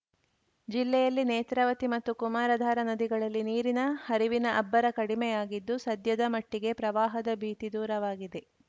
ಜಿಲ್ಲೆಯಲ್ಲಿ ನೇತ್ರಾವತಿ ಮತ್ತು ಕುಮಾರಧಾರಾ ನದಿಗಳಲ್ಲಿ ನೀರಿನ ಹರಿವಿನ ಅಬ್ಬರ ಕಡಿಮೆಯಾಗಿದ್ದು ಸದ್ಯದ ಮಟ್ಟಿಗೆ ಪ್ರವಾಹದ ಭೀತಿ ದೂರವಾಗಿದೆ